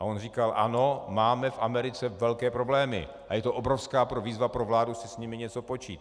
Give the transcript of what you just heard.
A on říkal ano, máme v Americe velké problémy a je to obrovská výzva pro vládu si s nimi něco počít.